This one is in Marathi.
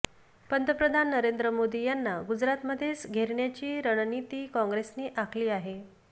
पंतप्रधान नरेंद्र मोदी यांना गुजरातमध्येच घेरण्याची रणनीती काँग्रेसने आखली आहे